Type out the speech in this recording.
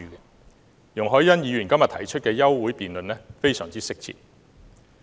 因此，容海恩議員在今天提出休會辯論是相當適切的。